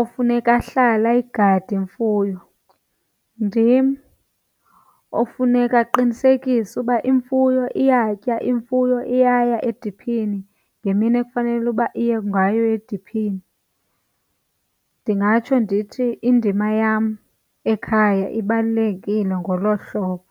ofuneka ahlale ayigade imfuyo, ndim ofuneka aqinisekise ukuba imfuyo iyatya, imfuyo eyaya ediphini ngemini ekufanele uba iye ngayo ediphini. Ndingatsho ndithi indima yam ekhaya ibalulekile ngolo hlobo.